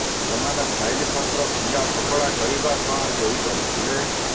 ସେମାନେ ଫାଇଲ ପତ୍ର ଫିଙ୍ଗା ଫୋପଡ଼ା କରିବା ସହ ଚୋରି କରିଥିଲେ